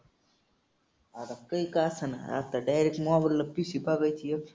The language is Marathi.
आता काही का असेना आता direct mobile ला पिशवी बांधायची एक.